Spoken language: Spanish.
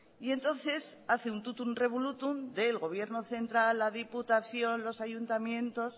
y entonces hace un tótum revolútum del gobierno central a diputación los ayuntamientos